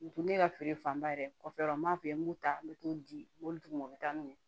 N tɛ ne ka feere fanba yɛrɛ kɔfɛ yɔrɔ m'a fɛ n b'u ta n bɛ t'u di mobili ma u bɛ taa n'u ye